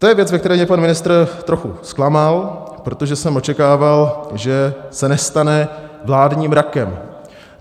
To je věc, ve které mě pan ministr trochu zklamal, protože jsem očekával, že se nestane vládním rakem.